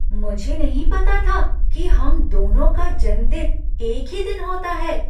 मुझे नहीं पता था कि हम दोनों का जन्मदिन एक ही दिन होता है!